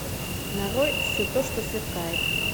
нарой все то что сверкает